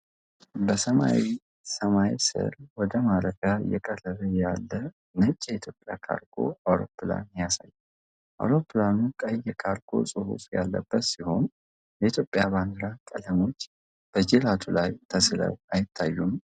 በሰማያዊ ሰማይ ስር ወደ ማረፊያ እየቀረበ ያለ ነጭ የኢትዮጵያ ካርጎ አውሮፕላን ያሳያል። አውሮፕላኑ ቀይ የ"ካርጎ" ጽሑፍ ያለበት ሲሆን፣ የኢትዮጵያ ባንዲራ ቀለሞች በጅራቱ ላይ ተሥለው አይታዩም?